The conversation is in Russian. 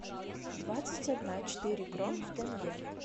двадцать одна четыре крон в тенге